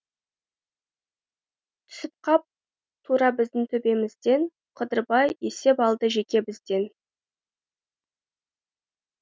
түсіп қап тура біздің төбемізден қыдырбай есеп алды жеке бізден